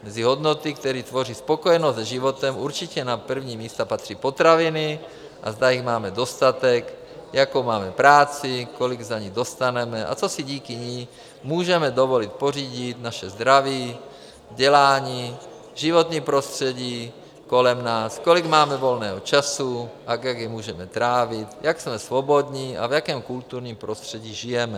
Mezi hodnoty, které tvoří spokojenost se životem, určitě na první místa patří potraviny, a zda jich máme dostatek, jakou máme práci, kolik za ni dostaneme a co si díky ní můžeme dovolit pořídit, naše zdraví, vzdělání, životní prostředí kolem nás, kolik máme volného času a jak jej můžeme trávit, jak jsme svobodní a v jakém kulturním prostředí žijeme.